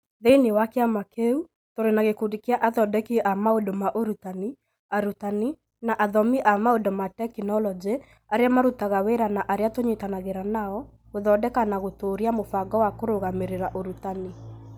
Thĩinĩ wa kĩama kĩu, tũrĩ na gĩkundi kĩa athondeki a maũndũ ma ũrutani, arutani, na athomi a maũndũ ma tekinolonjĩ arĩa marutaga wĩra na arĩa tũnyitanagĩra nao gũthondeka na gũtũũria mũbango wa kũrũgamĩrĩra ũrutani